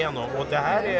án efa